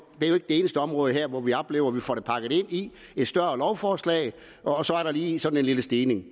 eneste område hvor vi oplever at vi får det pakket ind i et større lovforslag og så er der lige sådan en lille stigning